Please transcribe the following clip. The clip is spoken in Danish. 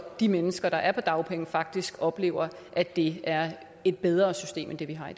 de mennesker der er på dagpenge faktisk oplever at det er et bedre system end det vi har